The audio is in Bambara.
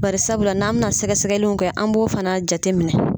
Barisabula n'an bɛna sɛgɛsɛgɛlinw kɛ an b'o fana jateminɛ.